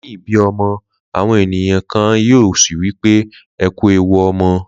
Leyin ibi omo awon eniyan a kan yin o si wipe “Eku ewu omo”